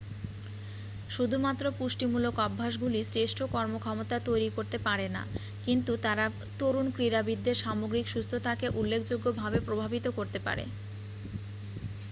শুধুমাত্র পুষ্টিমূলক অভ্যাসগুলি শ্রেষ্ঠ কর্মক্ষমতা তৈরি করতে পারে না কিন্তু তারা তরুণ ক্রীড়াবিদদের সামগ্রিক সুস্থতাকে উল্লেখযোগ্যভাবে প্রভাবিত করতে পারে